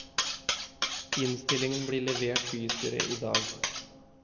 Innstillingen blir levert bystyret i dag.